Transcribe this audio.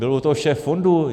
Byl u toho šéf fondu.